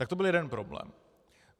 Tak to byl jeden problém.